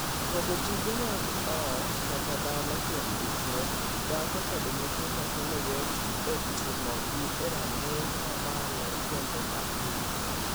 Pogo tije mag ot kata dala kuom dichwo, dhako kod nyithindo kelo yot e timogi a ranginy mamalo kendo mapiyo.